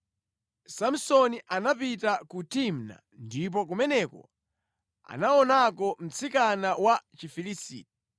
Samsoni anapita ku Timna ndipo kumeneko anaonako mtsikana wa Chifilisiti.